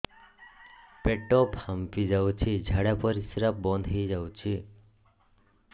ପେଟ ଫାମ୍ପି ଯାଉଛି ଝାଡା ପରିଶ୍ରା ବନ୍ଦ ହେଇ ଯାଉଛି